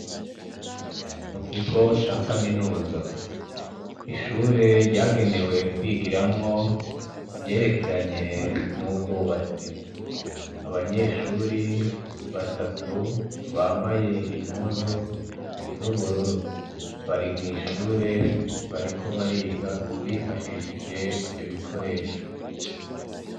Mu kigo ca kaminuza ishure ryagenewe kwigiramwo ivyerekeranye n'ubwubatsi abanyeshuri batatu bambaye impuzu z'ubururu bari mw'ishure bariko bariga bifashishije ivyo bikoresho.